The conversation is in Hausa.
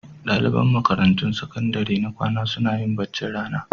Ɗaliban makarantun sakandare na kwana suna yin baccin rana.